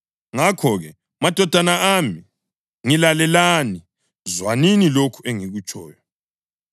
Ngakho-ke madodana ami, ngilalelani; zwanini lokhu engikutshoyo.